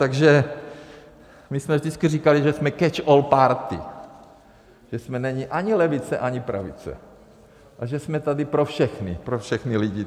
Takže my jsme vždycky říkali, že jsme catch-all-party, že jsme neni ani levice, ani pravice, že jsme tady pro všechny, pro všechny lidi.